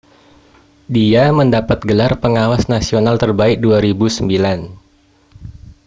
dia mendapat gelar pengawas nasional terbaik 2009